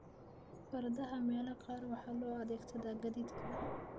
Fardaha meelaha qaar waxaa loo adeegsadaa gaadiidka.